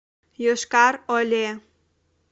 йошкар оле